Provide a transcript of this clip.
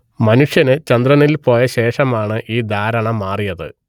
മനുഷ്യൻ ചന്ദ്രനിൽ പോയ ശേഷമാണ് ഈ ധാരണ മാറിയത്